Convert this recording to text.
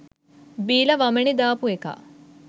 බීලා වමනේ දාපු එකා